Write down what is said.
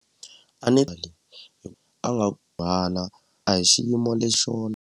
a nga a hi xiyimo lexo .